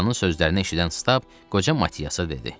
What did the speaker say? Kapitanın sözlərini eşidən Stab qoca Matiyasa dedi.